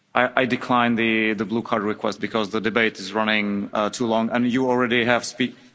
I declined the blue card request because the debate is running too long and you already spoke.